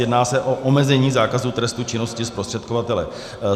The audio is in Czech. Jedná se o omezení zákazu trestu činnosti zprostředkovatele.